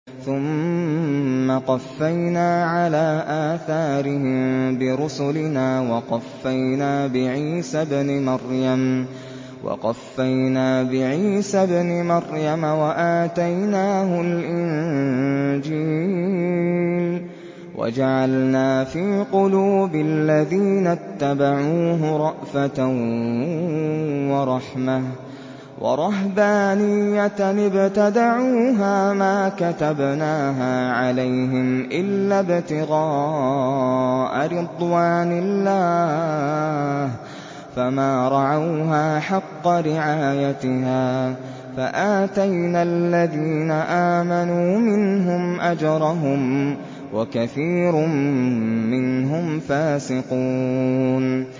ثُمَّ قَفَّيْنَا عَلَىٰ آثَارِهِم بِرُسُلِنَا وَقَفَّيْنَا بِعِيسَى ابْنِ مَرْيَمَ وَآتَيْنَاهُ الْإِنجِيلَ وَجَعَلْنَا فِي قُلُوبِ الَّذِينَ اتَّبَعُوهُ رَأْفَةً وَرَحْمَةً وَرَهْبَانِيَّةً ابْتَدَعُوهَا مَا كَتَبْنَاهَا عَلَيْهِمْ إِلَّا ابْتِغَاءَ رِضْوَانِ اللَّهِ فَمَا رَعَوْهَا حَقَّ رِعَايَتِهَا ۖ فَآتَيْنَا الَّذِينَ آمَنُوا مِنْهُمْ أَجْرَهُمْ ۖ وَكَثِيرٌ مِّنْهُمْ فَاسِقُونَ